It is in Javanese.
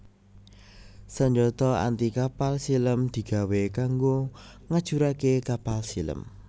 Sanjata anti kapal silem digawé kanggo ngajuraké kapal silem